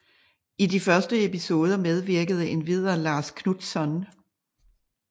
I de første episoder medvirkede endvidere Lars Knutzon